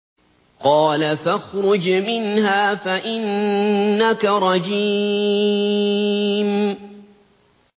قَالَ فَاخْرُجْ مِنْهَا فَإِنَّكَ رَجِيمٌ